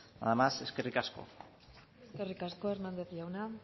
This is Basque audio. nada más eskerrik asko eskerrik asko hernández jauna